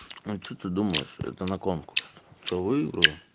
а что ты думаешь это на конкурс что выиграю